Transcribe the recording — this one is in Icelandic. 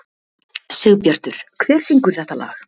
Sigbjartur, hver syngur þetta lag?